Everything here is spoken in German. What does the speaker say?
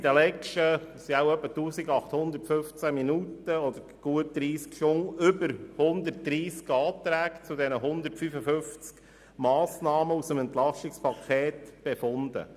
In den vergangenen wohl etwa 1815 Minuten oder gut 30 Stunden haben wir über mehr als 130 Anträge zu den 155 Massnahmen aus dem EP befunden.